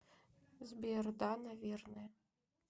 сбер да наверное